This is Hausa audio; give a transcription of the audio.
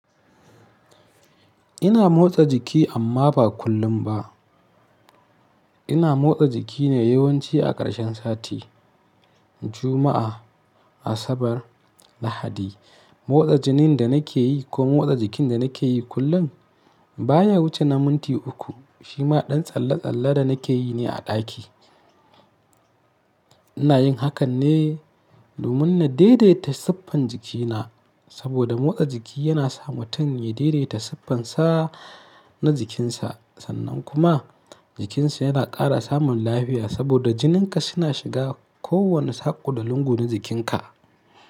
Ina motsa jiki amma ba kullum ba. Ina motsa jiki ne yawanci a ƙarshen sati, Juma'a, Asabar, Lahadi. Motsa jinin da nake yi ko motsa jikin da nake yi kullum baya wuce na minti uku. Shima ɗan tsalle-tsalle da nake yi ne a ɗaki. Ina yin hakan ne domin na daidaita siffan jikina, saboda motsa jiki yana sa mutum ya daidaita siffansa na jikinsa sannan kuma jikinsa yana ƙara samun lafiya saboda jininka suna shiga kowane saƙo da lungu na jikinka.